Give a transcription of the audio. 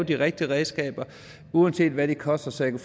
de rigtige redskaber uanset hvad det kostede så jeg